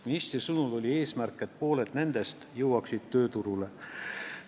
Ministri sõnul oli eesmärk, et pooled nendest jõuaksid tööturule.